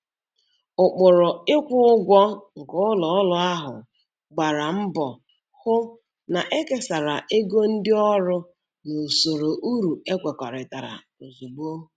Ụkpụrụ ịkwụ ụgwọ nke ụlọ ọrụ ahụ gbara mbọ hụ na ekesara ego ndị ọrụ n'usoro uru ekwekọrịtara ozugbo.